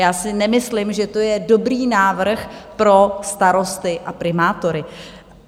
Já si nemyslím, že to je dobrý návrh pro starosty a primátory.